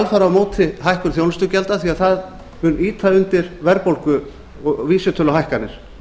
er alfarið á móti hækkun þjónustugjalda því að það mun ýta undir verðbólgu og vísitöluhækkanir